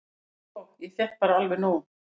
"""Sko, ég fékk bara alveg nóg."""